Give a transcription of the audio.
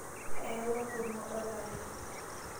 Ayawua enkurumwa olale.